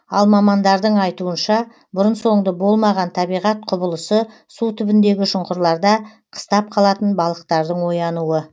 ал мамандардың айтуынша бұрын соңды болмаған табиғат құбылысы су түбіндегі шұңқырларда қыстап қалатын балықтардың оянуы